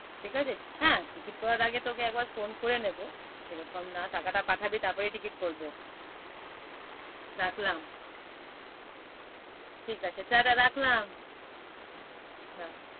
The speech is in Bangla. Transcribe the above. ঠিক আছে হ্যাঁ, টিকিট করার আগে তোকে একবার করে নেবো সেরকম না টাকাটা পাঠাবি তারপরেই টিকিট করবো। রাখলাম? ঠিক আছে টাটা রাখলাম।